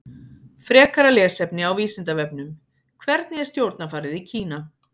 Frekara lesefni á Vísindavefnum: Hvernig er stjórnarfarið í Kína?